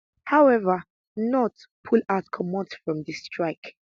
however knut pull out comot from di strike